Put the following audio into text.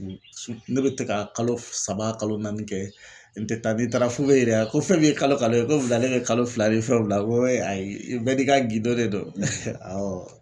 N su ne be te ka kalo f saba kalo naani kɛ n tɛ taa. Ni n taara f'u be n ɲiniŋa ko fɛn min ye kalo kalo ye ko wulada in na ye kalo fila ni fɛnw bila ŋo ayi i bɛɛ n'i ka gindo de don awɔ.